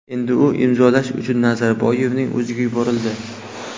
Endi u imzolash uchun Nazarboyevning o‘ziga yuborildi.